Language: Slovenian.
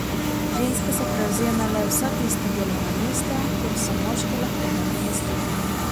Ženske so prevzemale vsa tista delovna mesta, kjer so moške lahko nadomestile.